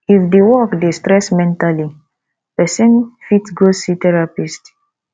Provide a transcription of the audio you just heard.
if di work dey stress mentally person fit go see therapist